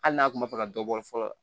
Hali n'a kun b'a fɛ ka dɔ bɔ fɔlɔ